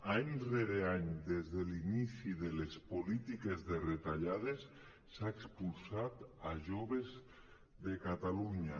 any rere any des de l’inici de les polítiques de retallades s’ha expulsat joves de catalunya